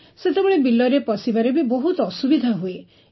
ସେତେବେଳେ ବିଲରେ ପଶିବାରେ ବି ବହୁତ ଅସୁବିଧା ହୁଏ